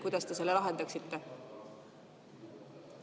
Kuidas te selle lahendaksite?